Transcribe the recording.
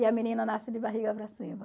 E a menina nasce de barriga para cima.